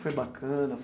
Foi bacana?